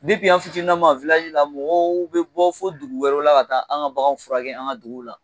an fitininnama la mɔgɔw bɛ bɔ fo dugu wɛrɛw la ka taa anw ka baganw furakɛ an ka dugu la